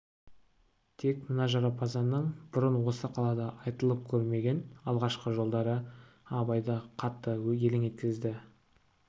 тек мына жарапазанның бұрын осы қалада айтылып көрмеген алғашқы жолдары абайды қатты елең еткізді